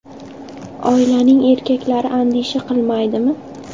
Oilaning erkaklari andisha qilmaydimi?